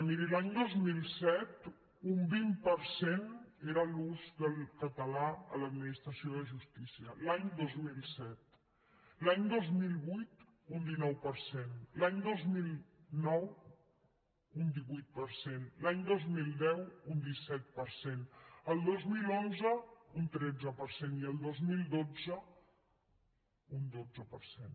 miri l’any dos mil set un vint per cent era l’ús del català a l’administració de justícia l’any dos mil set l’any dos mil vuit un dinou per cent l’any dos mil nou un divuit per cent l’any dos mil deu un disset per cent el dos mil onze un tretze per cent i el dos mil dotze un dotze per cent